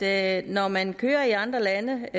at når man kører i andre lande